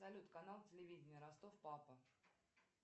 салют канал телевидение ростов папа